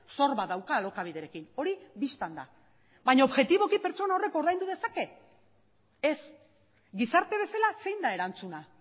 zor bat dauka alokabiderekin hori bistan da baina objetiboki pertsona horrek ordaindu dezake ez gizarte bezala zein da erantzuna